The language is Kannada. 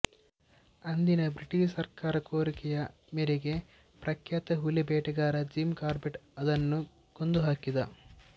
ಅಂದಿನ ಬ್ರಿಟಿಷ್ ಸರ್ಕಾರದ ಕೋರಿಕೆಯ ಮೇರೆಗೆ ಪ್ರಖ್ಯಾತ ಹುಲಿಬೇಟೆಗಾರ ಜಿಮ್ ಕಾರ್ಬೆಟ್ ಅದನ್ನು ಕೊಂದುಹಾಕಿದ